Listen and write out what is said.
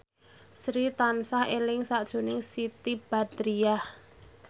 Sri tansah eling sakjroning Siti Badriah